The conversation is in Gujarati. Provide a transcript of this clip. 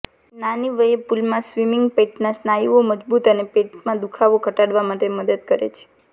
નાની વયે પુલમાં સ્વિમિંગ પેટના સ્નાયુઓ મજબૂત અને પેટમાં દુખાવો ઘટાડવા માટે મદદ કરે છે